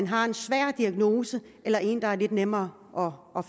har en svær diagnose eller en der er lidt nemmere